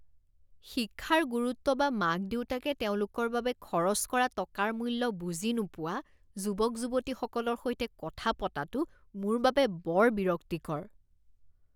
শিক্ষাৰ গুৰুত্ব বা মাক দেউতাকে তেওঁলোকৰ বাবে খৰচ কৰা টকাৰ মূল্য বুজি নোপোৱা যুৱক যুৱতীসকলৰ সৈতে কথা পতাটো মোৰ বাবে বৰ বিৰক্তিকৰ।